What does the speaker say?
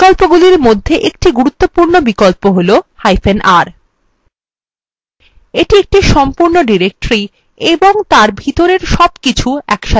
বিকল্পগুলির মধ্যে একটি গুরুত্বপূর্ণ বিকল্প হলr এটি একটি সম্পূর্ণ directory of তার ভিতরের সবকিছু একসাথে প্রতিলিপি করে